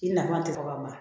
I nafa tɛ fɔ ka ban